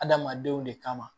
Adamadenw de kama